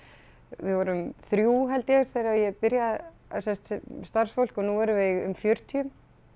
við vorum þrjú held ég þegar ég byrja sem sagt starfsfólk og nú erum við um fjörutíu